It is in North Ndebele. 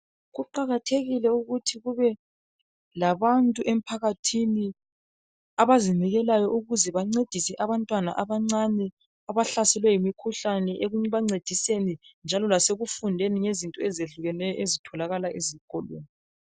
Kuqakathekile ukuthi kube labantu emphakathini abazinikelayo ukuze bancedise abantwana abancane abahlaselwe yimikhuhlane ekubancediseni njalo lasekufundeni ngezinto ezehlukeneyo ezitholakala esikolweni.